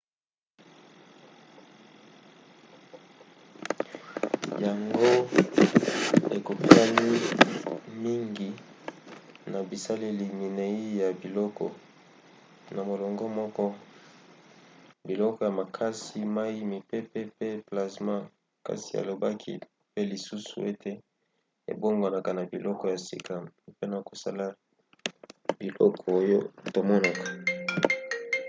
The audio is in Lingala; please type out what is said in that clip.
yango ekokani mingi na bizaleli minei ya biloko na molongo moko: biloko ya makasi mai mipepe pe plazma kasi alobaki pe lisusu ete ebongwanaka na biloko ya sika mpona kosala biloko oyo tomonaka